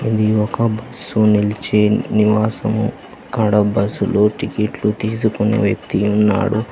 ఇది ఒక బస్సు నిల్చే నివాసము అక్కడ బస్సులు టికెట్లు తీసుకుని వ్యక్తి ఉన్నాడు.